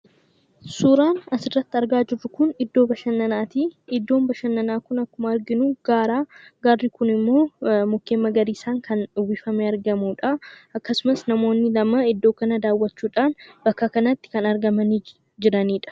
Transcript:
Suuraan asirratti argaa jirru kunii, iddoo bashananaati. Iddoon bashananaa Kun akkuma arginu gaara. Gaarri Kun immoo mukkeen magariisaan kan uwwifamee argamuudhaa akkasumas namoonni lama iddoo kana daawwachuudhaan bakka kanatti argamanii jiranidha.